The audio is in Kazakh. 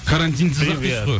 карантинсіз ақ дейсіз ғой